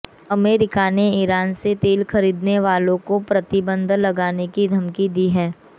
America ने Iran से तेल खरीदने वालों को प्रतिबंध लगाने की धमकी दी है